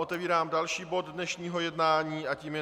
Otevírám další bod dnešního jednání a tím je